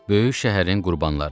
Böyük şəhərin qurbanları.